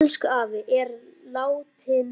Elsku afi er látinn.